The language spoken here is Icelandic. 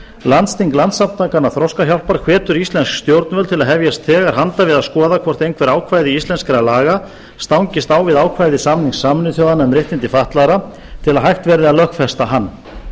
landsþing landssamtakanna þroskahjálpar hvetur íslensk stjórnvöld til að hefjast þegar handa við að skoða hvort einhver ákvæði íslenskra laga stangist á við ákvæði samnings sameinuðu þjóðanna um réttindi fatlaðra til að hægt verði að lögfesta hann